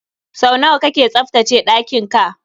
Sau nawa kake tsaftace ɗakin ka?